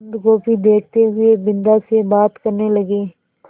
बन्दगोभी देखते हुए बिन्दा से बात करने लगे